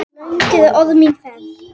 Löng er orðin mín ferð.